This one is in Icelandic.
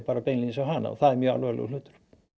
á hana og það er mjög alvarlegur hlutur